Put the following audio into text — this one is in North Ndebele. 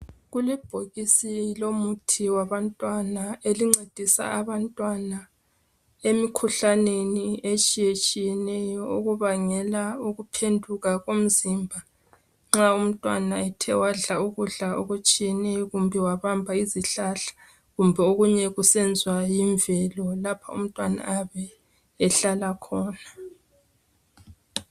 Kulebhokisi lomuthi wabantwana elincedisa abantwana emikhuhlaneni etshiye tshiyeneyo okubangela ukuphenduka komzimba nxa umntwana ethe wadla ukudla okutshiyeneyo kumbe wabamba izihlahla kumbe okunye kusenziwa yimvelo lapho umntwana ayabe ehlala khona.